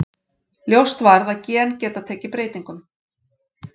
Ljóst varð að gen geta tekið breytingum.